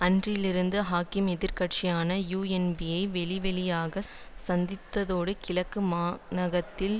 அன்றில் இருந்து ஹக்கீம் எதிர் கட்சியான யூஎன்பியை வெளிவெளியாகச் சந்தித்ததோடு கிழக்கு மாகாணத்தில்